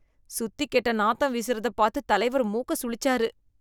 சுத்திக் கெட்ட நாத்தம் வீசுறதப் பாத்து தலைவர் மூக்க சுளிச்சாரு.